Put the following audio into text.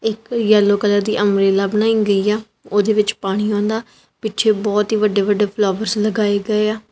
ਇਕ yellow colour ਦੀ umbrella ਬਣਾਈ ਗਈ ਆ ਉਹਦੇ ਵਿੱਚ ਪਾਣੀ ਆਉਂਦਾ ਪਿੱਛੇ ਬਹੁਤ ਹੀ ਵੱਡੇ ਵੱਡੇ ਫਲੋਰਸ ਲਗਾਏ ਗਏ ਆ।